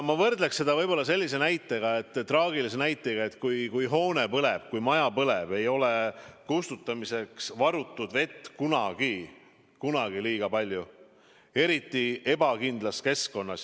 Ma võrdleksin seda sellise traagilise näitega, et kui maja põleb, siis ei ole kustutamiseks varutud vett kunagi liiga palju, eriti ebakindlas keskkonnas.